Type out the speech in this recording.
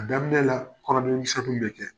A daminɛ la kɔnɔdimi misɛnin bɛ kɛ.